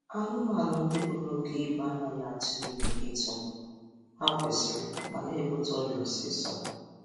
Anụmanụ ndị buru oke ibu anaghị atụ ime etu ha kwesiri mà na-ebute ọrịa osisọ